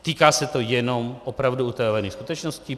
Týká se to jenom opravdu utajovaných skutečností?